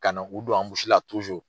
Ka na k'u don